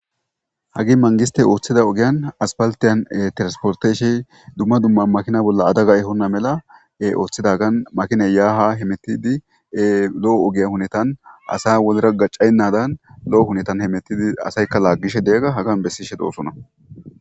hagi mangiste ooththida ogiyan aspaltiyan tiransporteshe dumma dumma makina bolla adaga ehonna mela ooththidagan makine yaaha he mettidi lo7o ogiya hunetan asa wolra gacaynnadan lo7o hunetan hemettidi asaykka laaggishe deyagga hagan bessishe doosona